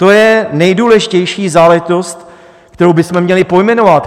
To je nejdůležitější záležitost, kterou bychom měli pojmenovat.